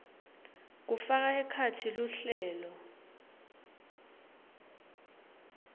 kufaka ekhatsi luhlelo